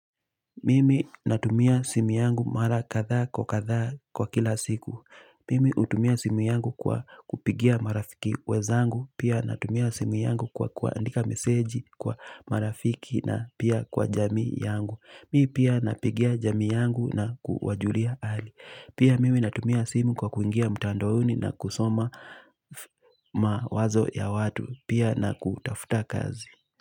Mimi natumia simu yangu mara kadhaa kwa kadhaa kwa kila siku. Mimi utumia simu yangu kwa kupigia marafiki wezangu. Pia natumia simu yangu kwa kuandika meseji kwa marafiki na pia kwa jamii yangu. Mimi pia napigia jamii yangu na kuwajulia hali. Pia mimi natumia simu kwa kuingia mtandaoni na kusoma mawazo ya watu. Pia na kutafuta kazi.